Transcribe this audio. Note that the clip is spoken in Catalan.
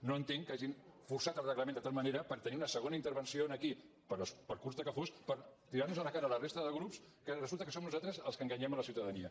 no entenc que hagin forçat el reglament de tal manera per tenir una segona intervenció aquí per curta que fos per tirar nos a la cara a la resta de grups que resulta que som nosaltres els que enganyem la ciutadania